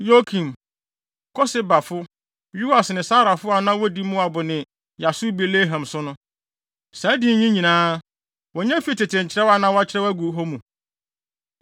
Yokim, Kosebafo, Yoas, ne Saraf a na wodi Moab ne Yasubi-Lehem so no. Saa din yi nyinaa, wonya fii tete nkyerɛw a na wɔakyerɛw agu hɔ mu.